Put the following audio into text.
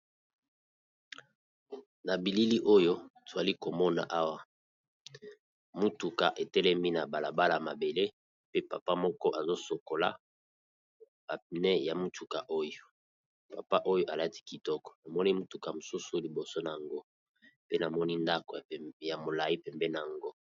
Na bilili oyo twali komona awa motuka etelemi na balabala mabele pe papa moko azo sokola ba pneu ya mutuka oyo papa oyo alati kitoko namoni motuka mosusu liboso nango pe namoni ndako ya molayi pembeni na yango.